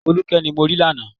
Folúkẹ́ ni mo rí lánàá